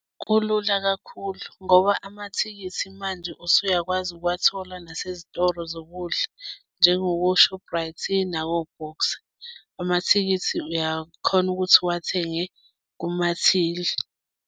Kulula kakhulu ngoba amathikithi manje usuyakwazi ukuwathola nasezitolo zokudla njengoko-Shoprite nako-Boxer. Amathikithi uyakhona ukuthi uwathenge kumathili.